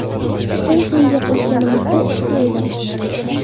Tushdan keyin gaplashganimizda ishda edim.